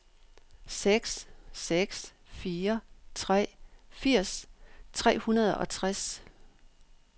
seks seks fire tre firs tre hundrede og tres